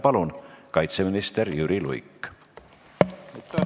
Palun, kaitseminister Jüri Luik!